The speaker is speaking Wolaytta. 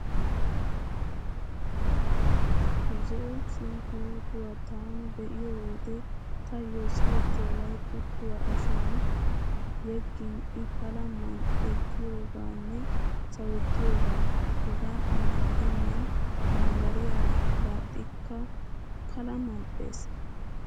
Zo'o sunkkuruutuwa taani be'iyo wode taayyo siyettiyaabay kuttuwaa ashuwan yeggin I pala mal"ettiyoogaanne sawettiyoogaa. Hegaa xalla gidennan bambbariyaara daaxxikka Pala mal'ees.